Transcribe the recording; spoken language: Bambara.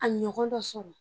A ɲɔgɔn dɔ sɔrɔ